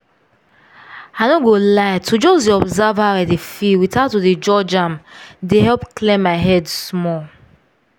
i no go lie to just dey observe how i dey feel without to dey judge am dey help clear my head small